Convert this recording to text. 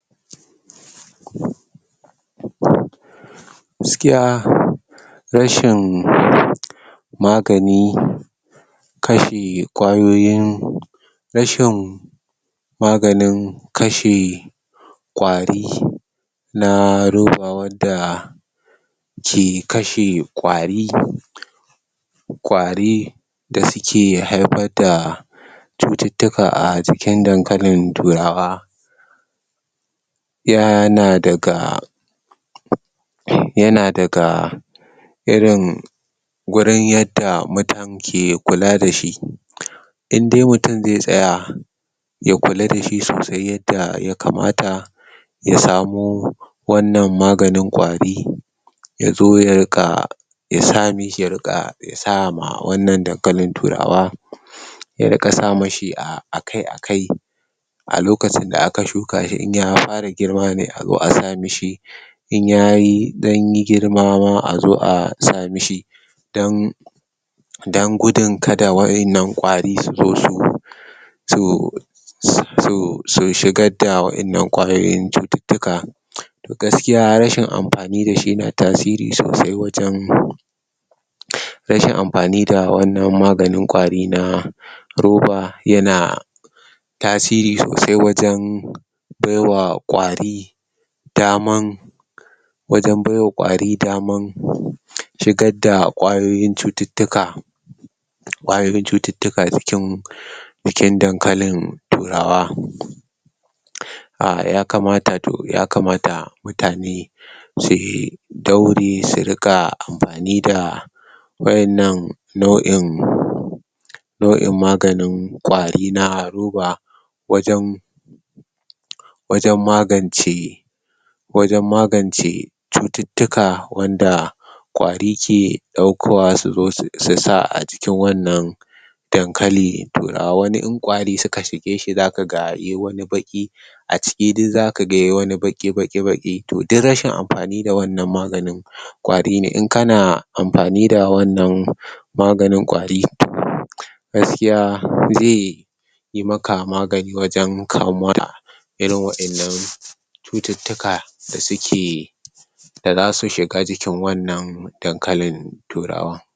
Gaskiya rashin magani kashe ƙwayoyin rashin maganin kashe ƙwari na roba wanda ke kashe ƙwari ƙwari da suke haifar da cututtuka a acikin dan kalin turawa yana daga yana daga irin gurun yanda mutun ke kula dashi indai mutun ze tsaya ya kula dashi sausai yanda yakamata yasamu wannan maganin ƙwari yazo ya riƙa yasa mishi yariƙa sama wannan dankalin turawa ya riƙa sa mishi akai akai alokacin da aka shukashi in ya fara girma ne azo asa mashi in yayi dan girma azo asamishi dan dan gudun kada wayannan ƙwari suzo su zo so su shigarda wayannan ƙwayoyin cututtuka gaskiya rashin amfani dashi yana tasiri sausai wajan rashin amfani da wannan magani na ƙofa yana tasiri sausai wajan bewa ƙwari daman wajan baiwa ƙwari daman shigar da ƙwayoyin cututtuka ƙwayoyin cututtuka cikin dankalin turawa cikin dankalin turawa um yakamata mutane suyi daure suƙa amfani da wayannan nau in nau in maganin ƙwari na roba wajan wajan magance wajan magance cututtuka wanda ƙwari ke ɗaukowa suzo susa acikin wanan dan kali turawa in ƙwari suka shigeshi zakaga yai wani baki aciki duk zaka ga yai wani baki baki duk rashi amfani da wannan maganin ƙwari ne in kana amfani da wannan maganin ƙwari gaskiya ze yi maka magani waja kayo mura irin wayannan cucutuka da suke dazasu shiga jikin wannan dankalin turawa.